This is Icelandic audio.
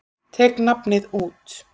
Tek nafnið út.